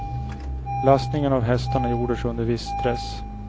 Lastningen av hästarna gjordes under viss stress.